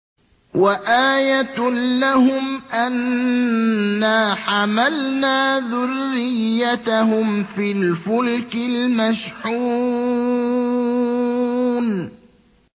وَآيَةٌ لَّهُمْ أَنَّا حَمَلْنَا ذُرِّيَّتَهُمْ فِي الْفُلْكِ الْمَشْحُونِ